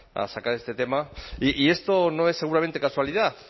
a sacar este tema y esto no es seguramente casualidad